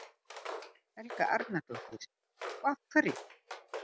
Helga Arnardóttir: Og af hverju?